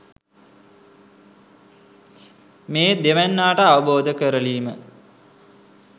මේ දෙවැන්නාට අවබෝධ කරලීම